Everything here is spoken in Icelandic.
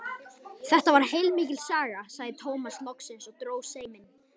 Þetta var heilmikil saga, sagði Tómas loksins og dró seiminn.